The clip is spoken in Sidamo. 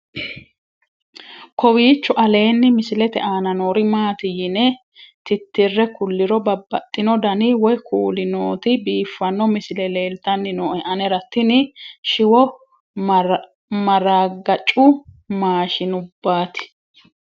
kowiicho aleenni misilete aana noori maati yine titire kulliro babaxino dani woy kuuli nooti biiffanno misile leeltanni nooe anera tino shiwo maragacu maashshinubba